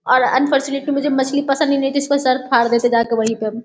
और अनफोरचुनेटली मुझे मछली पसंद ही नहीं थी इसका सर फाड़ देते जा के वहीं पे हम ।